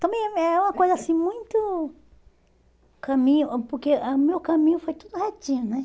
Também é uma coisa assim, muito caminho, ãh porque ãh o meu caminho foi tudo retinho, né?